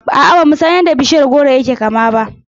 A'a, bamu san yadda bishiyar goro yake kama ba.